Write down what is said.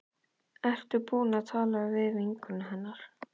Ertu búin að tala við vinkonur hennar?